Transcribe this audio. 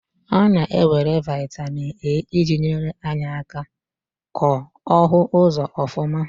A na-ewere vitamin A iji nyere anya aka ko ohu uzo ofuma.